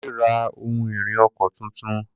Kunle ra ohun-ìrìn ọkọ̀ tuntun.